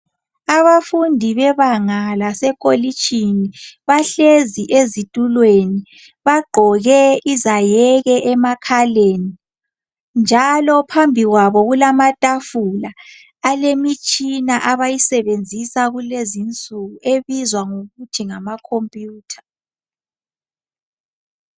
Abafundi bebanga lasekolitshini bahlezi ezitulweni bagqoke izayeke emakhaleni njalo phambili kwabo kulamatafula alemitshina abayisebenzisa kulezinsuku ebizwa ngokuthi ngamakhompiyutha